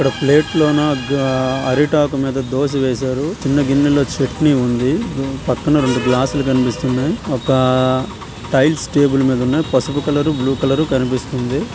ఇక్కడ ప్లేట్ లోన అరిటాకు మీద దోస వేసారు. చిన్న గిన్నె లో చెట్నీ ఉంది. పక్కన రెండూ గ్లాస్ లు కనిపిస్తున్నాయి. టైల్స్ టేబల్ మీద ఉన్నాయి. పసుపు కలర్ బ్ల్యూ కలర్ కనిపిస్తుంది.